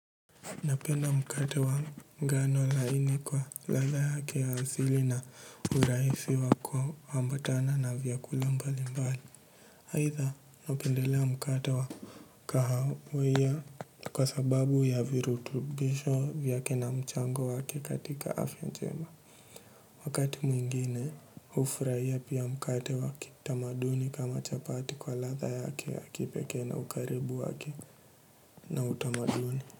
Napenda mkate wa ngano laini kwa ladha yake ya asili na urahisi wa kuambatana na vyakula mbali mbali aidha napendelea mkate wa kahawea kwa sababu ya virutubisho vyake na mchango wake katika afya njema. Wakati mwingine hufurahia pia mkate waki tamaduni kama chapati kwa ladha yake ya kipekee na ukaribu waki na utamaduni.